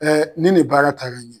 ni nin baara taara ɲɛ